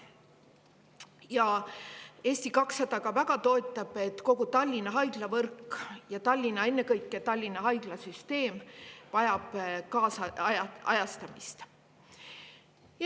Ja Eesti 200 väga toetab, et kogu Tallinna haiglavõrk, ennekõike Tallinna haiglasüsteem, vajab kaasajastamist.